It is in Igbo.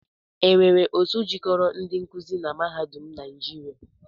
E nwere otu jikoro ndi nkuzi na mahadum naịjịria?